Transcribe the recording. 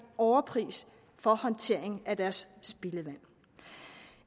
overpris for håndteringen af deres spildevand